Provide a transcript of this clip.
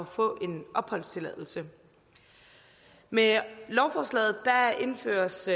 få en opholdstilladelse med lovforslaget indføres